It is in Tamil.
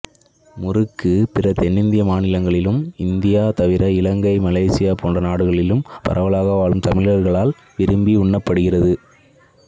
முறுக்கு பிற தென்னிந்திய மாநிலங்களிலும் இந்தியா தவிர இலங்கை மலேசியா போன்ற நாடுகளில் பரவலாக வாழும் தமிழர்களாலும் விரும்பி உண்ணப்படுகிறது